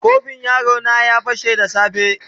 Kofin yaro na ya fashe yau da safe.